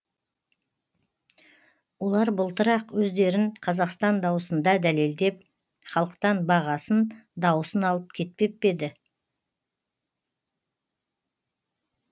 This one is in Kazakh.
олар былтыр ақ өздерін қазақстан дауысында дәлелдеп халықтан бағасын дауысын алып кетпеп пе еді